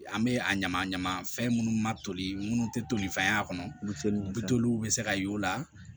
An bɛ a ɲama ɲama fɛn minnu ma toli minnu tɛ tolifɛn y'a kɔnɔ buteliw bito olu bɛ se ka y'o la